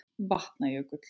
Vatna- jökull